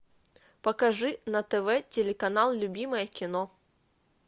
покажи на тв телеканал любимое кино